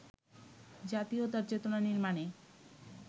জাতীয়তার চেতনা নির্মাণে